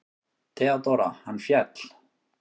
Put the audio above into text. THEODÓRA: Hann féll!